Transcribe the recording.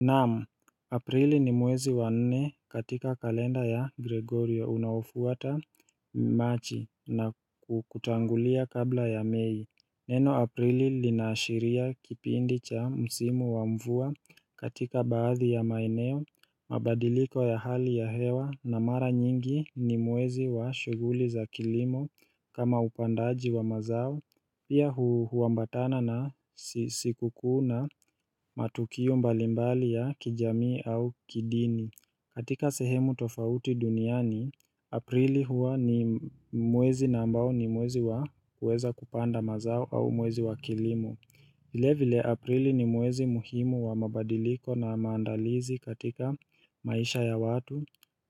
Naam, aprili ni mwezi wa nne katika kalenda ya Gregorio unaofuata machi na kutangulia kabla ya mei Neno aprili linaashiria kipindi cha msimu wa mvua katika baadhi ya maeneo, mabadiliko ya hali ya hewa na mara nyingi ni mwezi wa shughuli za kilimo kama upandaji wa mazao Pia huambatana na siku kuu na matukiu mbalimbali ya kijamii au kidini katika sehemu tofauti duniani, aprili huwa ni mwezi na ambao ni mwezi wa kuweza kupanda mazao au mwezi wa kilimo vile vile aprili ni mwezi muhimu wa mabadiliko na maandalizi katika maisha ya watu